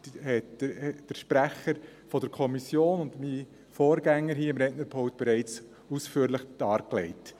dies haben der Sprecher der Kommission und mein Vorgänger hier am Rednerpult bereits ausführlich dargelegt.